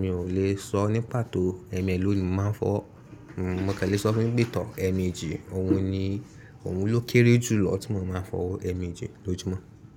Mi ò lè sọ ní pàtó ẹ̀mẹlòó ni mò máa ń fọ́. Mo kàn le sọ fún un pé tọ́ ẹ̀ẹ̀mejì, òun ni, òun ló kéré jù lọ tí mo máa ń fọwọ́ ẹ̀ẹ̀mejì lójúmọ́